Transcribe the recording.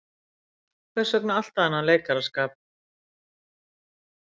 Hvers vegna alltaf þennan leikaraskap.